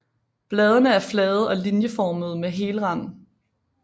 Bladene er flade og linjeformede med hel rand